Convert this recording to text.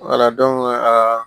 aa